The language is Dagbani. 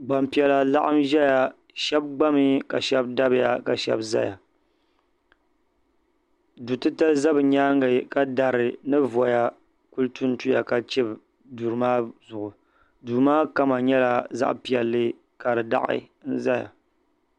Gbampiɛla n laɣim ʒɛya sheba gbami ka sheba dabiya ka sheba zaya du'titali za bɛ nyaanga ka dari ni voya kuli tuntuya ka chibi duri maa zuɣu duu maa kama nyɛla zaɣa piɛlli ka di daɣi.